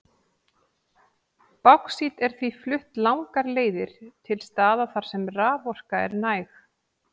Báxít er því flutt langar leiðir til staða þar sem raforka er næg.